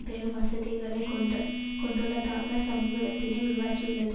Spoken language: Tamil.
பெரும் வசதிகளை கொண்டு கொண்டுள்ளதாக சமூகதத்தினை உருவாக்கியுள்ளது